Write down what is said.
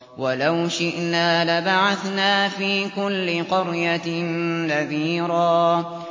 وَلَوْ شِئْنَا لَبَعَثْنَا فِي كُلِّ قَرْيَةٍ نَّذِيرًا